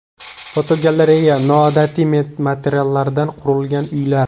Fotogalereya: Noodatiy materiallardan qurilgan uylar.